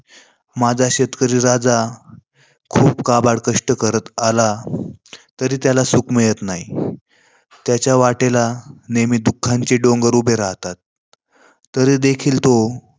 माझा शेतकरी राजा खूप काबड कष्ट करत आला, तरी त्याला सुख मिळत नाही. तरी त्याच्या वाटेला दुःखांचे डोंगर उभे राहतात. तरी देखील तो